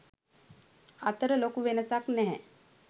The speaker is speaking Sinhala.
අතර ලොකු වෙනසක් නැහැ.